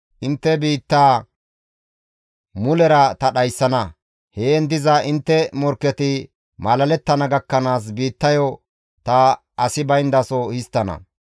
Intte biittaa mulera ta dhayssana; heen diza intte morkketi malalettana gakkanaas biittayo ta asi bayndaso histtana.